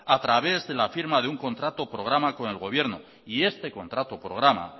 a través de la firma de un contrato programa con el gobierno y este contrato programa